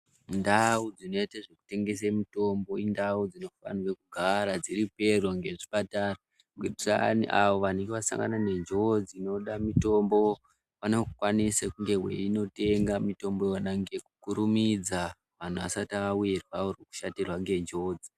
Ndau dzinoite zvekutengese mitombo indau dzinofanira kugara dziri pedo ngezvipatara kuitira ayani avo vanenge vasangana nenjodzi dzinoda mitombo vanokwanisa kunge veinotenga mitombo yona nekukurumidza vanhu vasati vawirwa oro kushatirwa ngenjodzi.